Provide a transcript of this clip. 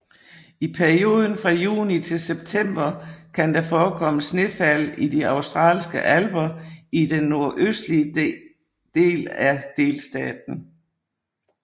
I perioden fra juni til september kan der forekomme snefald i de Australske Alper i den nordøstlige den af delstaten